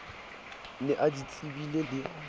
ne a di tsebile le